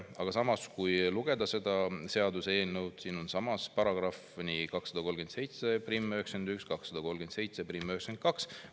Aga samas, kui lugeda seda seaduseelnõu, siis siin on §-d 23791 ja 23792 …